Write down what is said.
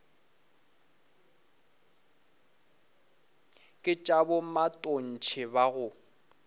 ke tša bomatontshe ba go